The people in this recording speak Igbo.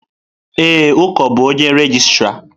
Ee, Uko bụ onye regịstrá.